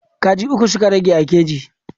Kaji uku suka rage a keji.